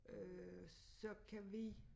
Øh så kan vi